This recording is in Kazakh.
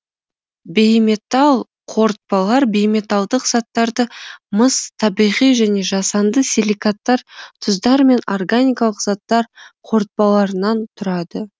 бейметал қорытпалар бейметалдық заттарды мыс табиғи және жасанды силикаттар тұздар мен органикалық заттар қорытпаларынан тұрады